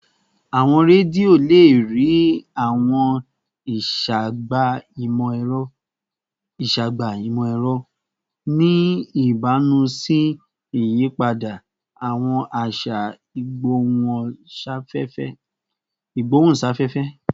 Awọn redio le rii awọn iṣagbega imọ-ẹrọ, ni ibamu si iyipada awọn aṣa igbohunsafefe